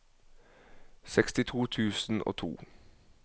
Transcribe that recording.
sekstito tusen og to